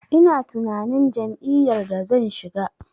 Ina tunanin jam'iyyar da zan shiga.